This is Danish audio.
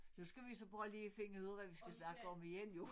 Så skal vi så bare lige finde ud af hvad vi skal snakke om igen jo